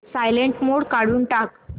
silent mode काढून टाक